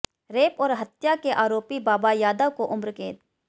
rape और हत्या के आरोपी बाबा यादव को उम्रकैद